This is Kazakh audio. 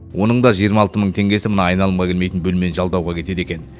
оның да жиырма алты мың теңгесі мына айналымға келмейтін бөлмені жалдауға кетеді екен